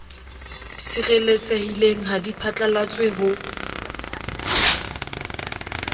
sireletsehileng ha di phatlalatswe ho